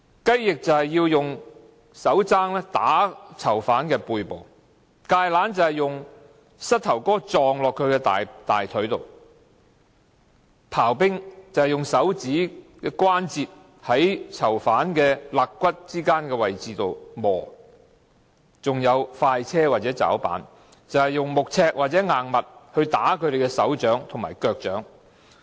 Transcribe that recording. "雞翼"就是以手踭打囚犯背部；"芥蘭"是以膝蓋撞擊囚犯大腿；"刨冰"就是以手指關節在囚犯肋骨之間的位置摩擦；還有"快車"或"抓板"，就是以木尺或硬物打他們的手掌和腳掌。